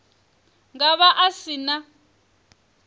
nga vha a si na